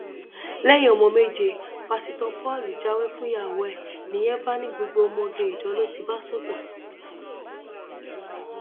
lẹyìn ọmọ méje pásítọ paul jáwèé fúnyàwó ẹ nìyẹn bá ní gbogbo ọmọge ìjọ ló ti bá sùn tán